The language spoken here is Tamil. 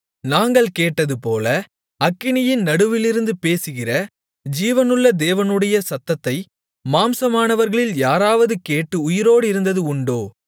நாங்கள் கேட்டதுபோல அக்கினியின் நடுவிலிருந்து பேசுகிற ஜீவனுள்ள தேவனுடைய சத்தத்தை மாம்சமானவர்களில் யாராவது கேட்டு உயிரோடிருந்தது உண்டா